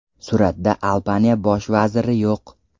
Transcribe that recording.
Suratda Albaniya bosh vaziri yo‘q.